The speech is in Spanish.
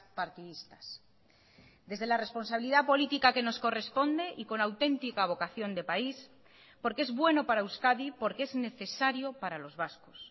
partidistas desde la responsabilidad política que nos corresponde y con auténtica vocación de país porque es bueno para euskadi porque es necesario para los vascos